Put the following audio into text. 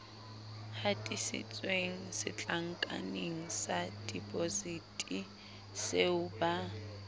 hatisitsweng setlankaneng sa depositiseo ba